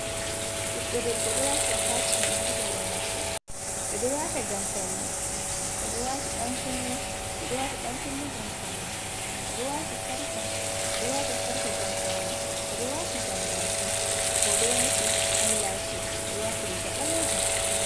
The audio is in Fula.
Ɓiɗɗo debbo ɗo waati atachimen ha hore mako ɓe ɗo wata ngam paune, oɗo wati ɗankunne ɓeɗo wata ɗanakunne ngam paune, oɗo wati sarka ɓeɗo wata sarka ngam paune, oɗo wati jambaki oɗo waati ai lasis oɗo wati riga ɓalejum.